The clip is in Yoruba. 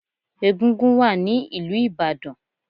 Egúngún wà ní ìlú Ìbàdàn.